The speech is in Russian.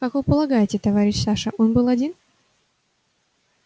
как вы полагаете товарищ саша он был один